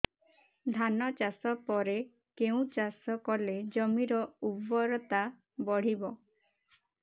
ଧାନ ଚାଷ ପରେ କେଉଁ ଚାଷ କଲେ ଜମିର ଉର୍ବରତା ବଢିବ